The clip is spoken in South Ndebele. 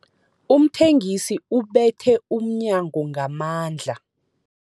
Umthengisi ubethe umnyango ngamandla.